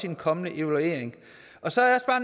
den kommende evaluering så er